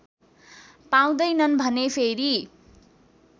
पाउँदैनन् भने फेरि